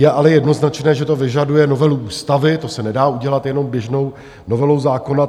Je ale jednoznačné, že to vyžaduje novelu ústavy, to se nedá udělat jenom běžnou novelou zákona.